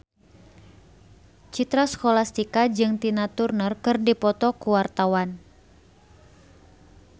Citra Scholastika jeung Tina Turner keur dipoto ku wartawan